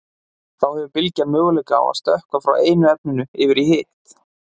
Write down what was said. Þá hefur bylgjan möguleika á að stökkva frá einu efninu yfir í hitt.